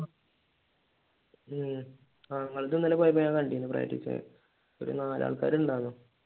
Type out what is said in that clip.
ഉം ഞങ്ങൾ പോയപ്പോ കണ്ടിരുന്നു ഒരു നാല് ആൾക്കാർ ഉണ്ടാകും